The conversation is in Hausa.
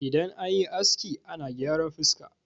idan an yi aski ana gyaran fuska